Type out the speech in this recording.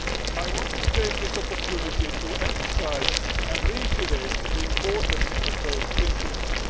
I want to take this opportunity to emphasise and reiterate the importance of those principles.